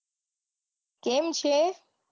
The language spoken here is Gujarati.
કેમ છે?